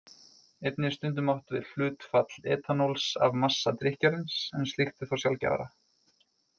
Einnig er stundum átt við hlutfall etanóls af massa drykkjarins, en slíkt er þó sjaldgæfara.